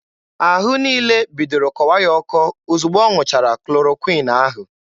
Ahụ niile bidoro kọwa ya ọkọ ozugbo ọ ṅụchara klorokwịn ahụ.